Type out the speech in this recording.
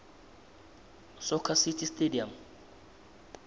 soccer city stadium